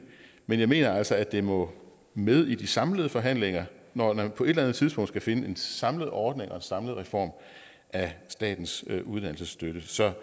men jeg mener altså at det må med i de samlede forhandlinger når man på et eller andet tidspunkt skal finde en samlet ordning og en samlet reform af statens uddannelsesstøtte så